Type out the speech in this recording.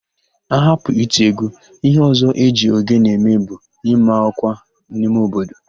Ahapụ iti égwú, íhé ọ̀zọ́ e ji ogene eme bụ ịma ọ́kwà n'ime obodo